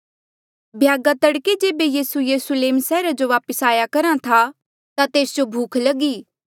भ्यागा तड़के जेबे यीसू यरुस्लेम सैहरा जो वापस आया करहा था ता तेस जो भूख लगी